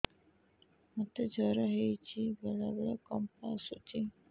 ମୋତେ ଜ୍ୱର ହେଇଚି ବେଳେ ବେଳେ କମ୍ପ ଆସୁଛି